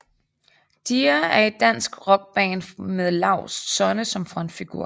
Dear er et dansk rockband med Laust Sonne som frontfigur